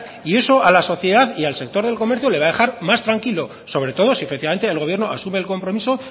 y eso a la sociedad y al sector del comercio le va a dejar más tranquilo sobre todo si efectivamente el gobierno asume el compromiso